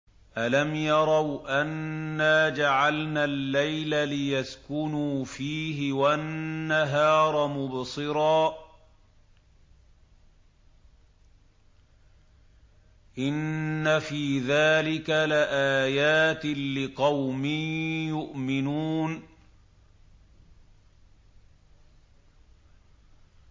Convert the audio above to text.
أَلَمْ يَرَوْا أَنَّا جَعَلْنَا اللَّيْلَ لِيَسْكُنُوا فِيهِ وَالنَّهَارَ مُبْصِرًا ۚ إِنَّ فِي ذَٰلِكَ لَآيَاتٍ لِّقَوْمٍ يُؤْمِنُونَ